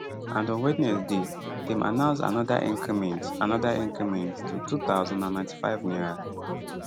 and on wednesday dem announce anoda increment anoda increment to n2095